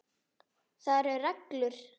Það eru reglur.